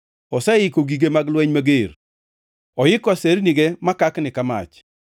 Oseiko gige mag lweny mager; oiko asernige makakni ka mach.